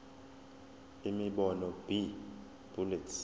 imibono b bullets